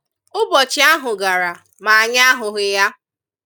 Ụbọchị ahụ gara ma anyị ahụghị ya